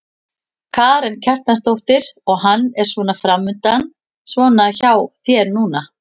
Karen Kjartansdóttir: Og hvað er svona framundan svona hjá þér núna?